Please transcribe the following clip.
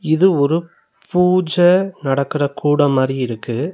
இது ஒரு பூஜ நடக்குற கூடம் மாரி இருக்கு.